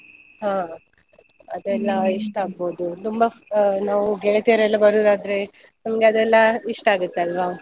ಹಾ ಅದೆಲ್ಲ ಇಷ್ಟ ಅಗ್ಬೋದು ತುಂಬಾ ನಾವು ಗೆಳತಿಯರೆಲ್ಲ ಬರೋದ್ ಆದ್ರೆ ನಮ್ಗ್ ಅದೆಲ್ಲ ಇಷ್ಟ ಆಗುತ್ ಅಲ್ವಾ?